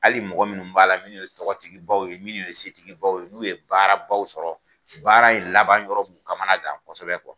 Ali mɔgɔ minnu b'a la minnu ye tɔgɔtigibaw ye minnu ye setigibaw ye n'u ye baarabaw sɔrɔ baara in laban yɔrɔ b'u kamana gan kosɛbɛ kuwa